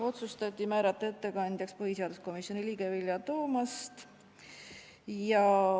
Otsustati määrata ettekandjaks põhiseaduskomisjoni liige Vilja Toomast.